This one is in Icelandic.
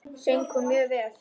Söng hún mjög vel.